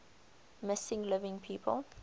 missing living people